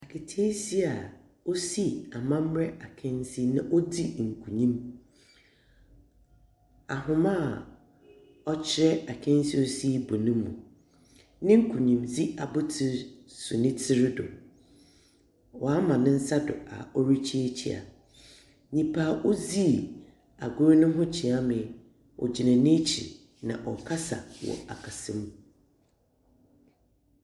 Aketeesia a osii amamber akansi na odzi nkunyim. Ahoma a ɔkyerɛ akansi a ɔsii bɔ no mu. Ne nkunyimdzi abotsir so ne tsir do. Ɔama ne nsa do a orikyiakyia. Nyimpa a odzii agor no mu kyeame gyina n'ekyir, na ɔrekasa wɔ akasamu.